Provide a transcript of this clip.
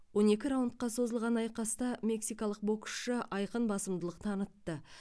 он екі раундқа созылған айқаста мексикалық боксшы айқын басымдылық танытты